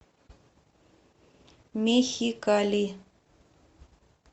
мехикали